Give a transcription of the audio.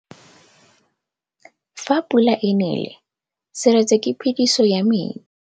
Fa pula e nelê serêtsê ke phêdisô ya metsi.